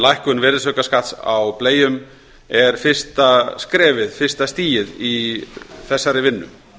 lækkun virðisaukaskatts á bleium er fyrsta stigið í þessari vinnu